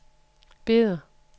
Beder